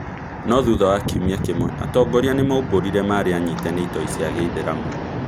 No thutha wa kiumia kĩmwe atongoria nĩmaumbũrire marĩanyite nĩ itoi cia Gĩithĩramu